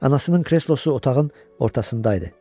Anasının kreslosu otağın ortasında idi.